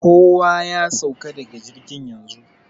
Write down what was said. Kowa ya sauka daga jirgin yanzu!